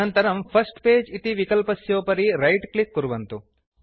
अनन्तरं first page इति विकल्पस्योपरि रैट क्लिक् कुर्वन्तु